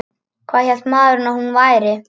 Hvað hélt maðurinn að hún væri?